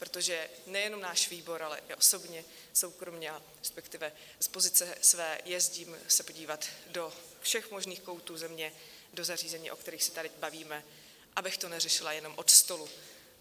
Protože nejenom náš výbor, ale i osobně, soukromě, respektive z pozice své se jezdím podívat do všech možných koutů země do zařízení, o kterých se tady bavíme, abych to neřešila jenom od stolu.